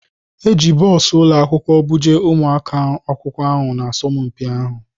E ji bọs ụlọ akwụkwọ buje ụmụ akwụkwọ asọmpi ahụ.